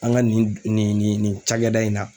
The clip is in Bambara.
An ka nin nin nin nin nin nin cakɛda in na